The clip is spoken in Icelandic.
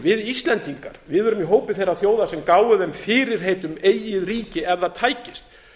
við íslendingar erum í hópi þeirra þjóða sem gáfu þeim fyrirheit um eigið ríki ef það tækist